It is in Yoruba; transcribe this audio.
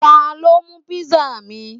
Ta ló mú pizza mi?